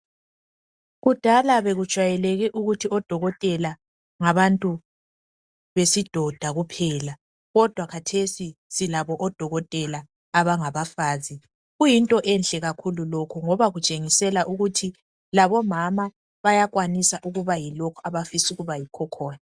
Kudala bekujwayeleke ukuthi odokotela ngabantu besidoda kuphela, kodwa khathesi silabo odokotela abangabafazi. Kuyinto enhle kakhulu lokhu ngoba kutshengisela ukuthi labomama bayakwanis' ukuba yilokho abafis' ukuba yilokho abafis' ukuba yikho khona.